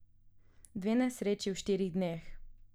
Dve nesreči v štirih dneh.